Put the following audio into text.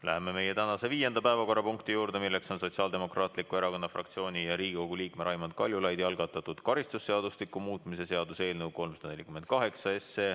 Läheme meie tänase viienda päevakorrapunkti juurde: Sotsiaaldemokraatliku Erakonna fraktsiooni ja Riigikogu liikme Raimond Kaljulaidi algatatud karistusseadustiku muutmise seaduse eelnõu 348.